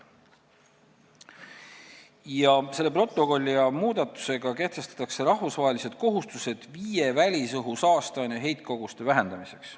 Selle protokolli ja muudatustega kehtestatakse rahvusvahelised kohustused viie välisõhu saasteaine heitkoguste vähendamiseks.